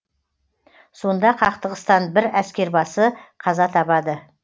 сонда қақтығыстан бір әскербасы қаза табады